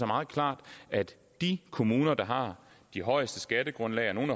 meget klart at de kommuner der har de højeste skattegrundlag og nogle